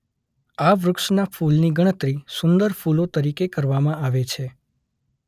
આ વૃક્ષનાં ફૂલની ગણતરી સુંદર ફૂલો તરીકે કરવામાં આવે છે.